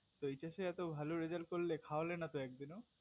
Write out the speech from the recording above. তো HS এত ভালো result করলে খাওয়ালে না তো একদিনো